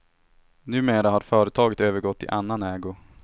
Numera har företaget övergått i annan ägo.